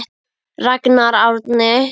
Ragnar Árni.